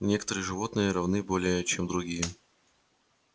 некоторые животные равны более чем другие